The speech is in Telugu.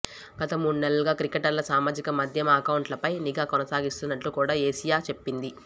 గత మూడు నెలలుగా క్రికెటర్ల సామాజిక మాధ్యమ అకౌంట్లపై నిఘా కొనసాగిస్తున్నట్లు కూడా ఏసీయూ చెప్పింది